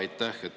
Aitäh!